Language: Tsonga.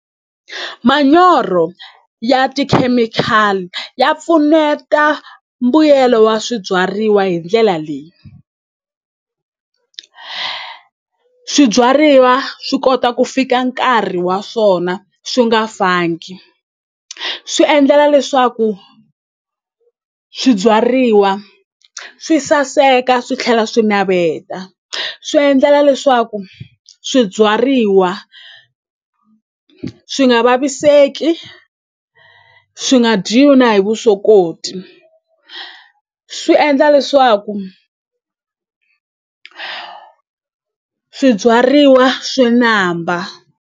Manyoro ya tikhemikhali ya pfuneta mbuyelo wa swibyariwa hi ndlela leyi swibyariwa swi kota ku fika nkarhi wa swona swi nga fangi swi endlela leswaku swibyariwa swi saseka swi tlhela swi naveta swi endlela leswaku swibyariwa swi nga vaviseki swi nga dyiwi na hi vusokoti swi endla leswaku swibyariwa swi namba.